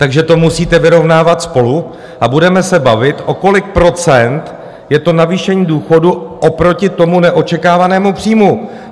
Takže to musíte vyrovnávat spolu a budeme se bavit, o kolik procent je to navýšení důchodů oproti tomu neočekávanému příjmu.